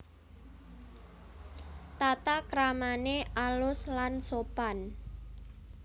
Tatakramané alus lan sopan